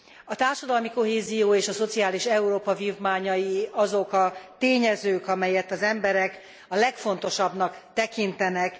A társadalmi kohézió és a szociális Európa vívmányai azok a tényezők, amelyet az emberek a legfontosabbnak tekintenek.